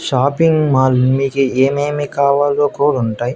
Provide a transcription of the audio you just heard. Shopping mall మీకీ ఏమేమీ కావాలో కూడా ఉంటాయి.